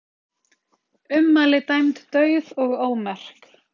Ummæli dæmd dauð og ómerk